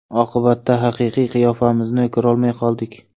Oqibatda haqiqiy qiyofamizni ko‘rolmay qoldik.